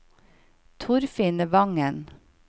Torfinn Wangen